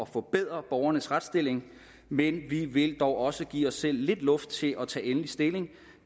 forbedre borgernes retsstilling men vi vil dog også give os selv lidt luft til at tage endelig stilling